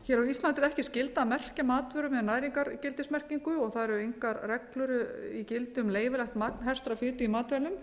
á íslandi er ekki skylda að merkja matvörur með næringargildismerkingu og þar eru engar reglur í gildi um leyfilegt magn hertrar fitu í matvælum